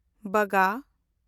ᱵᱟᱜᱟ